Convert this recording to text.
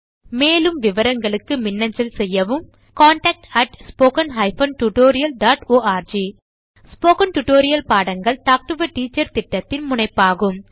மேலும் விவரங்களுக்கு மின்னஞ்சல் செய்யவும் contactspoken tutorialorg ஸ்போகன் டுடோரியல் பாடங்கள் டாக் டு எ டீச்சர் திட்டத்தின் முனைப்பாகும்